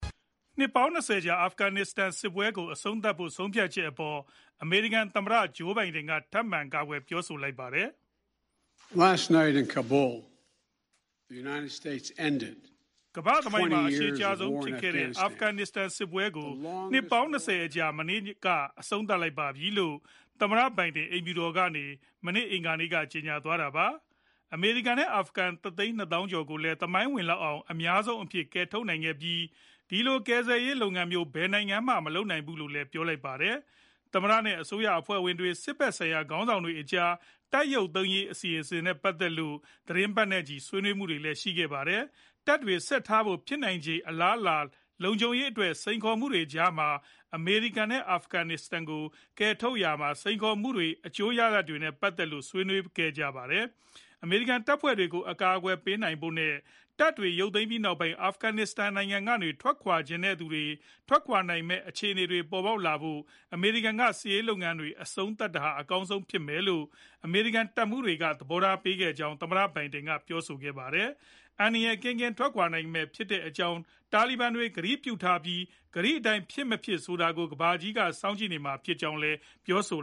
နှစ်ပေါင်း ၂၀ ကြာ အာဖဂန်နစ္စတန်စစ်ကို အဆုံးသတ်ဖို့ ဆုံးဖြတ်ချက်အပေါ် အမေရိကန် သမ္မတ ဂျိုးဘိုင်ဒန် က ထပ်မံကာကွယ် ပြောဆိုလိုက်ပါတယ်။ “အမေရိကန်သမိုင်းမှာ အရှည်ကြာဆုံးဖြစ်ခဲ့တဲ့ အာဖဂန်စစ်ပွဲကို နှစ်ပေါင်း ၂၀ အကြာ မနေ့ညက အဆုံးသတ်လိုက်ပါပြီ။” လို့ သမ္မတဘိုင်ဒင် အိမ်ဖြူတော်ကနေ မနေ့ အင်္ဂါနေ့က ကြေညာသွားတာပါ။ အမေရိကန်နဲ့ အာဖဂန် ၁ သိန်း ၂ သောင်းကျော်ကိုလည်း သမိုင်းဝင်လောက်အောင် အများဆုံးအဖြစ် ကယ်ထုတ်နိုင်ခဲ့ပြီး၊ ဒီလိုကယ်ဆယ်ရေး လုပ်ငန်းမျိုး ဘယ်နိုင်ငံမှ မလုပ်နိုင်ဘူးဖူးလို့လည်း ပြောပါတယ်။ သမ္မတနဲ့ အစိုးရအဖွဲ့ဝင်တွေ စစ်ဖက်ဆိုင်ရာ ခေါင်းဆောင်တွေကြား တပ်ရုပ်သိမ်းရေး အစီအစဉ်နဲ့ ပတ်သက်လို့ သီတင်းပတ်နဲ့ချီ ဆွေးနွေးမှုတွေလည်း ရှိခဲ့ပါတယ်။ တပ်တွေ ဆက်ထားဖို့ ဖြစ်နိုင်ခြေ အလားအလာ၊ လုံခြုံရေးအတွက် စိန်ခေါ်မှုတွေကြားမှာ အမေရိကန်နဲ့ အာဖဂန်တွေကို ကယ်ထုတ်ရာမှာ စိန်ခေါ်မှုတွေနဲ့ အကျိုးရလဒ်တွေနဲ့ ပတ်သက်လို့လည်း ဆွေးနွေးခဲ့ကြတာပါ။ အမေရိကန် တပ်ဖွဲ့တွေကို အကာအကွယ်ပေးဖို့နဲ့ တပ်တွေ ရုပ်သိမ်းပြီးနောက်ပိုင်း အာဖဂန်နစ္စတန်ကနေ ထွက်ခွာချင်တဲ့သူတွေ ထွက်ခွာနိုင်မယ့် အခြေအနေတွေ ပေါ်ပေါက်လာဖို့ အမေရိကန်ကစစ်ရေး လုပ်ငန်းတွေ အဆုံးသတ်တာဟာ အကောင်းဆုံးဖြစ်မယ်လို့ အမေရိကန်တပ်မှူးတွေကလည်း သဘောထား ပေးခဲ့ကြကြောင်း သမ္မတ ဘိုင်ဒင်က ပြောဆိုခဲ့ပါတယ်။ အန္တရာယ်ကင်းကင်း ထွက်ခွာနိုင်မှာဖြစ်ကြောင်း တာလီဘန်တွေ ကတိပြုထားပြီး၊ ကတိအတိုင်း ဖြစ်မဖြစ်ဆိုတာကိုလည်း ကမ္ဘာကြီးက စောင့်ကြည့်နေမှာဖြစ်ကြောင်းလည်း ပြောဆို